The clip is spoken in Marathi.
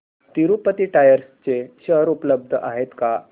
तिरूपती टायर्स चे शेअर उपलब्ध आहेत का